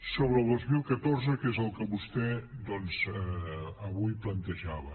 sobre el dos mil catorze que és el que vostè doncs avui plantejava